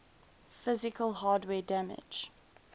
physical hardware damage